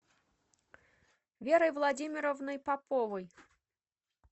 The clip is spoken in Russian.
верой владимировной поповой